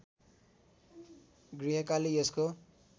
गुह्यकाली यसको